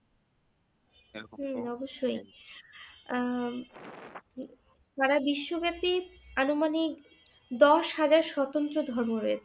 হুম অবশ্যই আহ সারা বিশ্বব্যাপী আনুমানিক দশ হাজার স্বাতন্ত্র ধর্ম রয়েছে